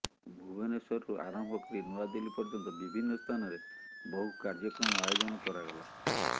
ଭୁବନେଶ୍ୱରରୁ ଆରମ୍ଭ କରି ନୂଆଦିଲ୍ଲୀ ପର୍ଯ୍ୟନ୍ତ ବିଭିନ୍ନ ସ୍ଥାନରେ ବହୁ କାର୍ଯ୍ୟକ୍ରମ ଆୟୋଜନ କରାଗଲା